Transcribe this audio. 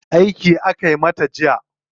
Aiki aka mata jiya.